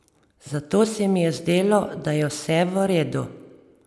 Zato se mi je zdelo, da je vse v redu.